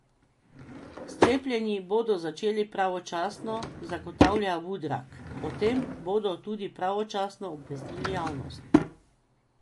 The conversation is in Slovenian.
S cepljenji bodo začeli pravočasno, zagotavlja Vudrag, o tem bodo tudi pravočasno obvestili javnost.